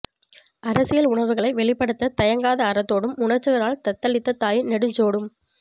அரசியல் உணர்வுகளை வெளிப்படுத்தத் தயங்காத அறத்தோடும் உணர்ச்சிகளால் தத்தளித்த தாயின் நெஞ்சோடும்